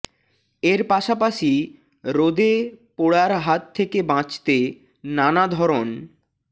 এর পাশাপাশি রোদে পোড়ার হাত থেকে বাঁচতে নানা ধরন